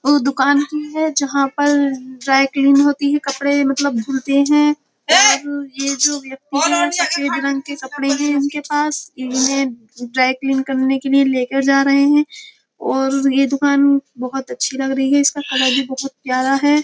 उ दुकान की है जहा पर ड्राइक्लीन होती हैं कपड़े मतलब होती हैं और ये जो व्यक्ति है सफेद रंग के कपड़े है उनके पास ये उन्हे ड्राइक्लीन करने के लिए लेकर जा रहे है और ये दुकान बहुत अच्छी लग रही है इसका कलर भी बहुत प्यारा हैं।